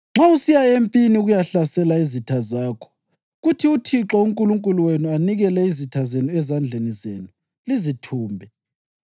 “Nxa usiya empini ukuyahlasela izitha zakho kuthi uThixo uNkulunkulu wenu anikele izitha zenu ezandleni zenu, lizithumbe,